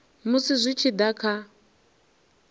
musi zwi tshi da kha